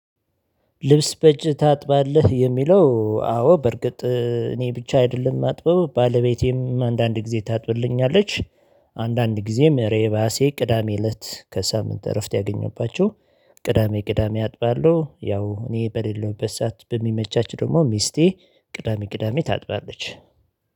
ልብስ በእጅ ታጥባለህ? የሚለው አዎ በርግጥ እኔ ብቻ አይደለም ማጥበው ባለቤቴም አንዳንድ ጊዜ ታጥብልኛለች። አንዳንድ ጊዜም እኔ ራሴ ቅዳሜ እለት ከሳምንት እረፍት ያገኘባቸው። ቅዳሜ ቅዳሜ አጥባለሁ። ያው እኔ በሌለውበት ሰዓት በሚመቻች ደግሞ ሚስቴ ቅዳሜ ቅዳሜ ታጥራለች